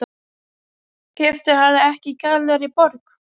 Keyptirðu hana ekki í Gallerí Borg?